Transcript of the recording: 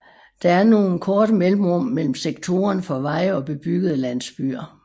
Der er nogle korte mellemrum mellem sektorerne for veje eller bebyggede landsbyer